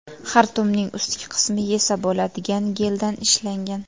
Xartumning ustki qismi yesa bo‘ladigan geldan ishlangan.